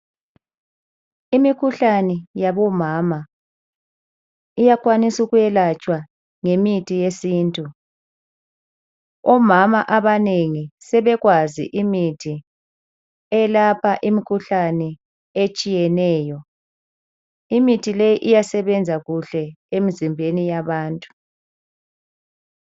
Imikhuhlane yabo mama iyakwaniswa ukwelatshwa ngemithi yesintu, omama abanengi sebekwazi imithi eyelapha imkhuhlane etshiyeneyo. Imithi leyi iyasebenza kuhle emzimbeni yabantu.